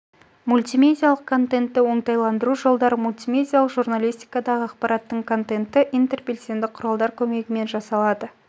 мультимедиалық контентті оңтайландыру жолдары мультимедиалық журналистикадағы ақпараттардың контенті интербелсенді құралдар көмегімен жасалады